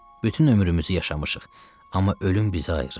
Bütün ömrümüzü yaşamışıq, amma ölüm bizi ayırır.